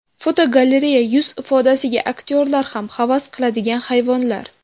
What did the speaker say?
Fotogalereya: Yuz ifodasiga aktyorlar ham havas qiladigan hayvonlar.